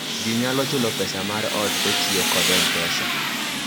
ji nyalo chulo pesa mar ot kotiyo kod m-pesa